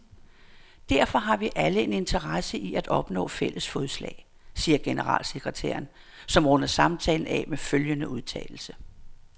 Derfor har vi alle en interesse i at opnå fælles fodslag, siger generalsekretæren, som runder samtalen af med følgende udtalelse.